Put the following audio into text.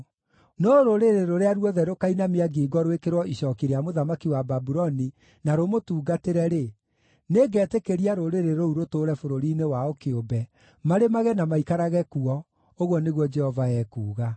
No rũrĩrĩ rũrĩa ruothe rũkainamia ngingo rwĩkĩrwo icooki rĩa mũthamaki wa Babuloni na rũmũtungatĩre-rĩ, nĩngetĩkĩria rũrĩrĩ rũu rũtũũre bũrũri-inĩ wao kĩũmbe, marĩmage na maikarage kuo, ũguo nĩguo Jehova ekuuga.” ’”